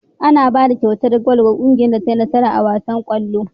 Ana bada kyautar gwal ga kungiyar da tai nasara a wasan kallo